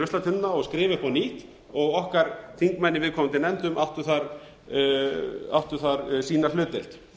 ruslatunnuna og skrifa upp á nýtt okkar þingmenn í viðkomandi nefndum áttu þar sína hlutdeild